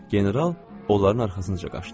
General onların arxasınca qaçdı.